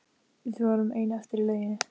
Við vorum ein eftir í lauginni.